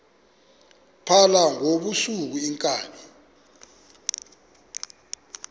phala ngobusuku iinkabi